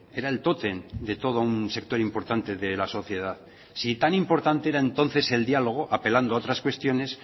era el toten de todo un sector importante de la sociedad si tan importante era entonces el diálogo apelando otras cuestiones